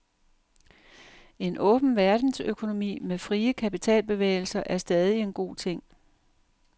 En åben verdensøkonomi med frie kapitalbevægelser er stadig en god ting.